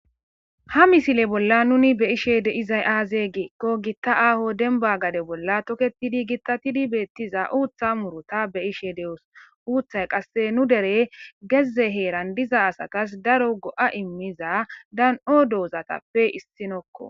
Ha misile bola nuuni be'ishe dizay aaze giikon gita aaho demba gade bola toketidi gitatizi beetiza uutha muruta be'ishe de'os uuthay kase nu dere heze heeran diza asas daro go'a imiza dan'o doozatape issuwako.